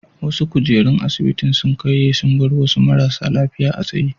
Wasu kujerun asibitin sun karye sun bar wasu marasa lafiya a tsaye.